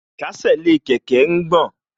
Ìkésè sí kẹ̀kẹ́ ń gbọ̀n